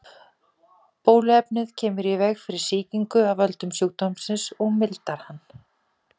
Bóluefnið kemur í veg fyrir sýkingu af völdum sjúkdómsins og mildar hann.